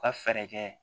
U ka fɛɛrɛ kɛ